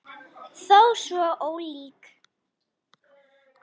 Þó svo ólík.